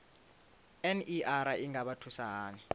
ner i nga vha thusa hani